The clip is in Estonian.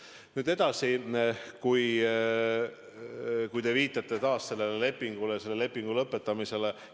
Nüüd edasi, te viitate taas sellele lepingule, selle lepingu lõpetamisele.